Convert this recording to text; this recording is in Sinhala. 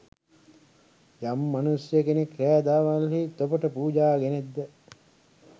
යම් මනුෂ්‍ය කෙනෙක් රෑ දාවල්හි තොපට පූජා ගෙනෙත් ද?